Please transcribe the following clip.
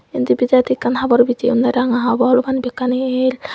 indi bidiredi ekkan habor bijeyonde ranga habor ubani bekkani ell.